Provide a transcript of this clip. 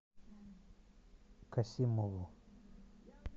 касимову